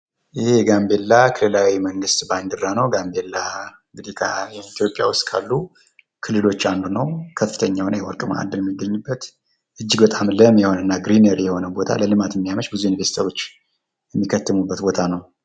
ይህ የጋምቤላ ክልላዊ መንግስት ባንዲራ ነው። ጋምቤላ እንግዲ ኢትዮጵያ ውስጥ ካሉ ክልሎች አንዱ ነው። ከፍተኛ የሆነ የወርቅ ማእከል ያለበት ፣ እጅግ በጣም ለም የሆነ እና ለልማት የሚያመች ብዙ ኢንቨስተሮች የሚከትሙበት ቦታ ነው።